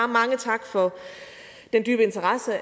mange tak for den dybe interesse